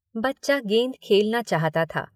बच्चा गेंद खेलना चाहता था।